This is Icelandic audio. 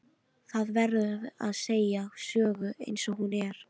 Það verður að segja hverja sögu eins og hún er.